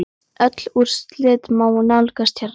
Öll úrslit má nálgast hérna.